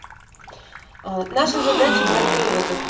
наша задача блокируй